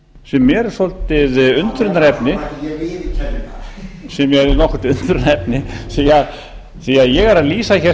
sem eru svolítið undrunarefni sem eru nokkurt undrunarefni því að ég er að lýsa hér